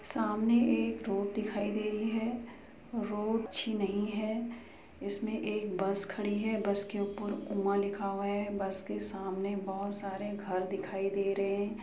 सामने एक रोड दिखाई दे रही है रोड अच्छी नहीं है इसमें एक बस खड़ी है बस के ऊपर उमा लिखा हुआ है बस के सामने बहुत सारे घर दिखाई दे रहे हैं।